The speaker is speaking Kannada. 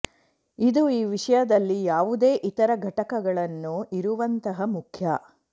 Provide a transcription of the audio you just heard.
ಇದು ಈ ವಿಷಯದಲ್ಲಿ ಯಾವುದೇ ಇತರ ಘಟಕಗಳನ್ನು ಇರುವಂತಹ ಮುಖ್ಯ